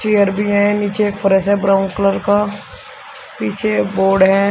Chair भी है नीचे एक फर्श ब्राउन कलर का पीछे बोर्ड है।